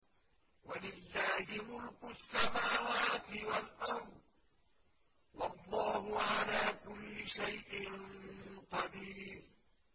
وَلِلَّهِ مُلْكُ السَّمَاوَاتِ وَالْأَرْضِ ۗ وَاللَّهُ عَلَىٰ كُلِّ شَيْءٍ قَدِيرٌ